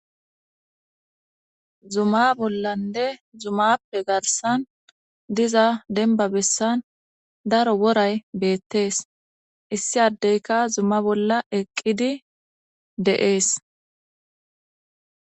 Zumma bollanne zummappe garssan diza demba bessan daro worry bettees issi adeykka zumma bolla eqiidi de'ees